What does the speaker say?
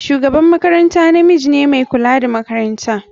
Shugaban makaranta namiji ne mai kula da makaranta.